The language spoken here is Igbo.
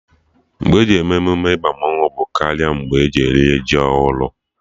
Mgbe e ji eme emume ịba mmanwụ bụ karị mgbe eji eri ji ọhụrụ